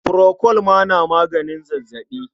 Furokol ma na maganin zazzaɓi.